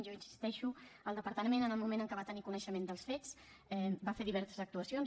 jo hi insisteixo el departament en el moment en què va tenir coneixement dels fets va fer diverses actuacions